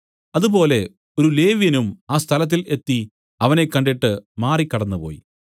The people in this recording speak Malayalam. അതുപോലെ ഒരു ലേവ്യനും ആ സ്ഥലത്തിൽ എത്തി അവനെ കണ്ടിട്ട് മാറി കടന്നുപോയി